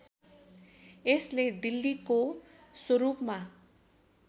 यसले दिल्लीको स्वरूपमा